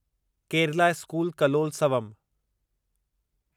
Kerala school Kalolsavam